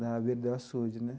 Na beira do açude, né?